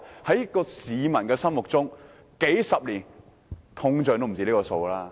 在市民心目中，數十年通脹已超出賠償金額。